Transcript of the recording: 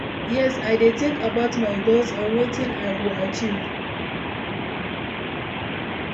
yes, i dey think about my goals and wetin i go achieve.